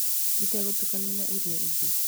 Itegũtukanio na iria ingĩ.